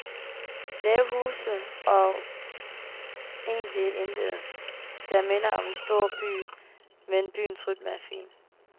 Lave huse og egentlig intet, der minder om en storby, men byens rytme er fin.